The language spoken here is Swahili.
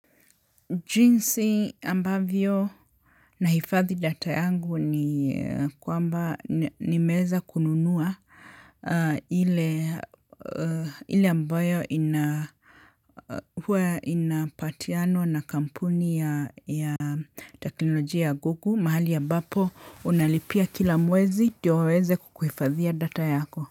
Jinsi ambavyo nahifadhi data yangu ni kwamba nimeweza kununua hile hile ambayo ina huwa inapatianwa na kampuni ya ya teknolojia ya gugu mahali ya bapo unalipia kila mwezi ndio waweze kukuhifadhia data yako.